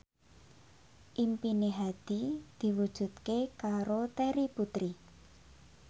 impine Hadi diwujudke karo Terry Putri